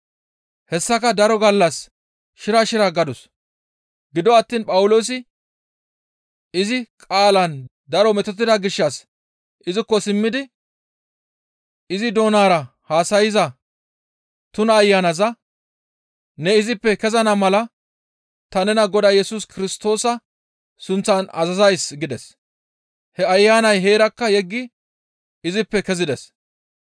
Hessaka daro gallas shira shira gadus; gido attiin Phawuloosi izi qaalaan daro metotida gishshas izikko simmidi izi doonara haasayza tuna ayanaza, «Ne izippe kezana mala ta nena Godaa Yesus Kirstoosa sunththan azazays» gides. He ayanay heerakka yeggi izippe kezides.